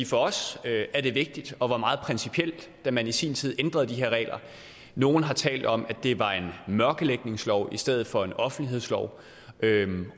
for os er det vigtigt og var meget principielt da man i sin tid ændrede de her regler nogle har talt om at det var en mørklægningslov i stedet for en offentlighedslov